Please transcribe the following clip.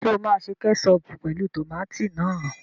Ṣé o máa ṣe kẹ́ṣọọ̀pù pẹ̀lú tòmátì náà?